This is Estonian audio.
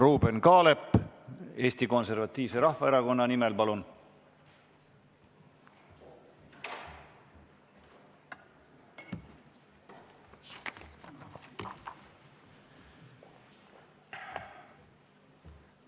Ruuben Kaalep Eesti Konservatiivse Rahvaerakonna nimel, palun!